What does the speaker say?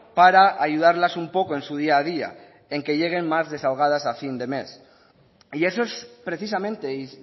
para ayudarlas un poco en su día a día en que lleguen más desahogadas a fin de mes y eso es precisamente y